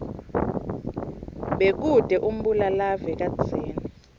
bekute umbulalave kadzeni